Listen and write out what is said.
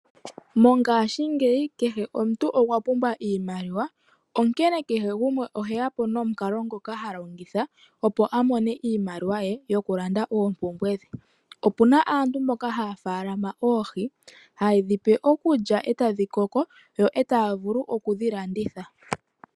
Mongashingeyi kehe omuntu okwa pumbwa oshimaliwa onkene kehe gumwe oheya po nomikalo ngoka ha longitha opo amone iimaliwa ye yokulanda oompumbwe dhe, opuna aantu mboka haya faalama oohi hauedhi pe okulya eta dhi koko yo eta vulu okudhilanditha.